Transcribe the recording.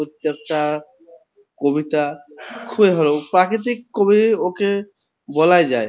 প্রত্যেকটা কবিতা খুব ই ভালো। প্রাকৃতিক কবি ওকে বলা যায়।